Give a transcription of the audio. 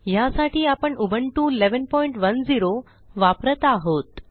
ह्यासाठी आपण उबुंटू 1110 वापरत आहोत